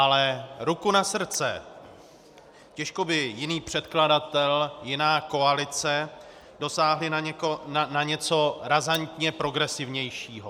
Ale ruku na srdce, těžko by jiný předkladatel, jiná koalice dosáhli na něco razantně progresivnějšího.